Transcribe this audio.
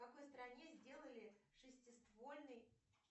в какой стране сделали шестиствольный